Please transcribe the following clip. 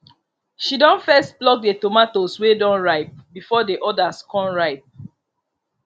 she don first pluck the tomatos wey don ripe before the others con ripe